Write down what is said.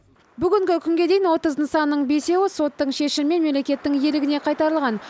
бүгінгі күнге дейін отыз нысанның бесеуі соттың шешімімен мемлекеттің иелігіне қайтарылған